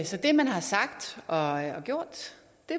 det man har sagt og gjort